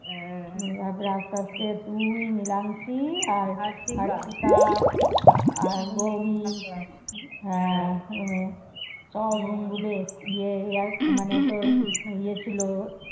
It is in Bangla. তারপরে আস্তে আস্তে তুই নিলামশী আর হার্শিতা আর গৌরী হয়ে সব room গুলি ইয়ে মানে তোর ইয়ে ছিল,